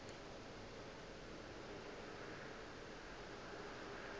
o be o šetše o